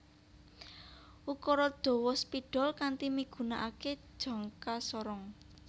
Ukura dawa spidol kanti migunakaké jangka sorong